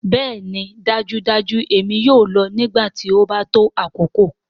Bẹẹni dajudaju èmi yoo lọ nigbati o ba to akoko.